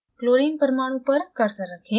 chlorine परमाणु पर cursor रखें